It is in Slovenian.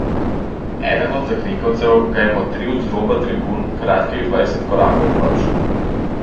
Eden od zakrinkancev ga je motril z roba tribun kakih dvajset korakov proč.